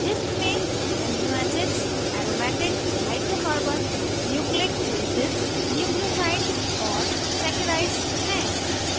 list में amino acids aromatic hydrocarbons nucleic bases nucleosides और saccharides हैं